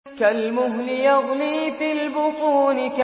كَالْمُهْلِ يَغْلِي فِي الْبُطُونِ